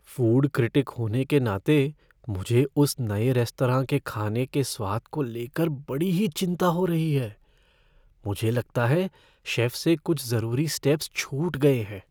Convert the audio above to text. Food critic होने के नाते, मुझे उस नए रेस्तरां के खाने के स्वाद को लेकर बड़ी ही चिंता हो रही है। मुझे लगता है शेफ़ से कुछ ज़रूरी स्टेप्स छूट गए हैं।